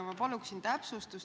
Ma paluksin täpsustust.